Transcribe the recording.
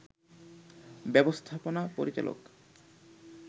ব্যবস্থাপনা পরিচালক